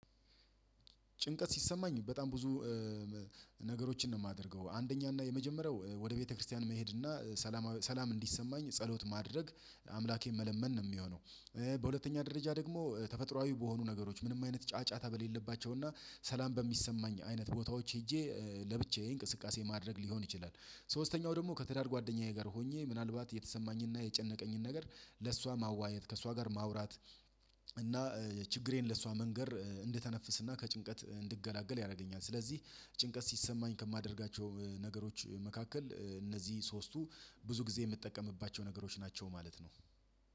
ጭንቀት ሲሰማኝ በጣም ብዙ። ነገሮችን ነው የማደርገው አንደኛ እና የመጀመሪያው ወደ ቤተክርስቲያን መሄድ እና ሰላም ሰላም እንዲሰማኝ ጸሎት ማድረግ አምላኬን መለመን ነው የሚሆነው። በሁለተኛ ደረጃ ደግሞ ተፈጥሮአዊ በሆኑ ነገሮች ምንም አይነት ጫጫታ በሌለባቸው እና ሰላም በሚሰማኝ አይነት ቦታዎች ሄጄ ለብቻዬ እንቅስቃሴ ማድረግ ሊሆን ይችላል። ሶስተኛው ደግሞ ከትዳር ጓደኛዬ ጋር ሆኜ ምናልባት የተሰማኝና የጨነቀኝን ነገር ለእሷ ማዋየት ከእሷ ጋር ማውራት። እና ችግሬን ለእሷ መንገር እንደተነፍስና ከጭንቀት እንድገላገል ያደርገኛል። ስለዚህ ጭንቀት ሲሰማኝ ከማደርጋቸው ነገሮች መካከል እነዚህ ሶስቱ ብዙ ጊዜ የምትጠቀምባቸው ነገሮች ናቸው ማለት ነው።